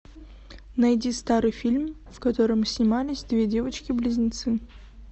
найди старый фильм в котором снимались две девочки близнецы